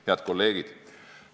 Head kolleegid!